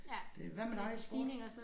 Det hvad med dig sport?